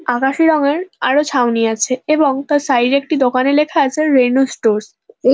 আকাশী রঙের আরও ছাউনি আছে এবং তার সাইড -এ একটি দোকানে লেখা আছে রেনো স্টোরস এ --